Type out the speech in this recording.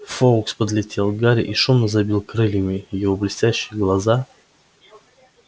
фоукс подлетел к гарри и шумно забил крыльями его блестящие глаза